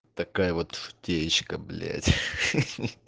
такая вот течка блять